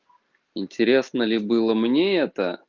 интересно ли было мне это